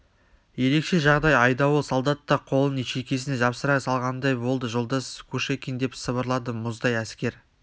ерекше жағдай айдауыл солдат та қолын шекесіне жапсыра салғандай болды жолдас кушекин деп сыбырлады мұздай әскер